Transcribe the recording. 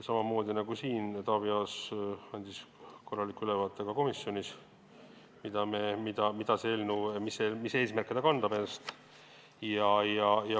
Samamoodi nagu siin, andis Taavi Aas korraliku ülevaate ka komisjonis sellest, mis eesmärke eelnõu endas kannab.